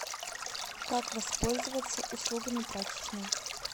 как воспользоваться услугами прачечной